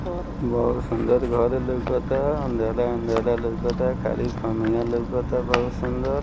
बहुत सुन्दर घर लोकता अंधेला - अंधेला लोकाता खाली खामिया लोकाता बहुत सुन्दर।